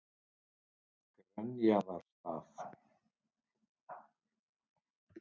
Grenjaðarstað